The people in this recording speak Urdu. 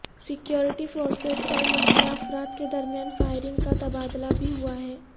سکیورٹی فورسز اور مسلح افراد کے درمیان فائرنگ کا تبادلہ بھی ہوا ہے